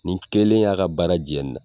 Nin kelen y'a ka baara jɛ nin na